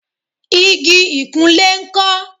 igi ìkunlé ńkọ́?